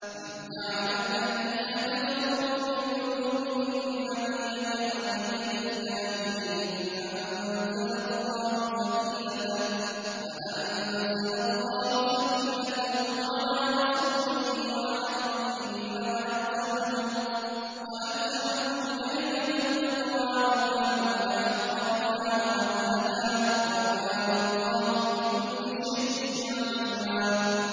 إِذْ جَعَلَ الَّذِينَ كَفَرُوا فِي قُلُوبِهِمُ الْحَمِيَّةَ حَمِيَّةَ الْجَاهِلِيَّةِ فَأَنزَلَ اللَّهُ سَكِينَتَهُ عَلَىٰ رَسُولِهِ وَعَلَى الْمُؤْمِنِينَ وَأَلْزَمَهُمْ كَلِمَةَ التَّقْوَىٰ وَكَانُوا أَحَقَّ بِهَا وَأَهْلَهَا ۚ وَكَانَ اللَّهُ بِكُلِّ شَيْءٍ عَلِيمًا